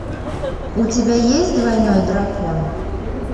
у тебя есть двойной дракон